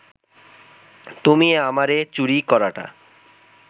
তুমি আমারে চুরি করাটা